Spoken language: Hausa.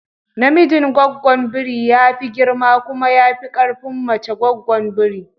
Namijin goggon biri ya fi girma kuma ya fi ƙarfin mace goggon biri